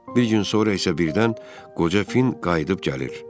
Bir gün sonra isə birdən qoca Fin qayıdıb gəlir.